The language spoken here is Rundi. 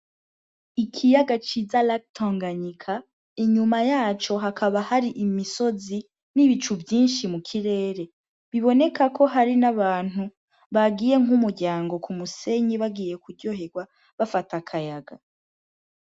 Ikiyaga ciza latonganyika inyuma yaco hakaba hari imisozi n'ibicu vyinshi mu kirere biboneka ko hari n'abantu bagiye nk'umuryango ku musenyi bagiye kuryoherwa bafata akayaga.